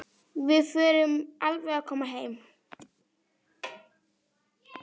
Við förum alveg að koma heim.